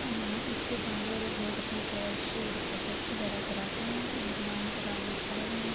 اسکے بہار لوگ اپنا کش ڈپازٹ وگیرہ کراتے ہے اور لائن کٹار مے کھڈے ہے۔